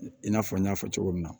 I n'a fɔ n y'a fɔ cogo min na